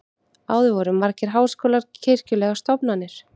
áður voru margir háskólar kirkjulegar stofnanir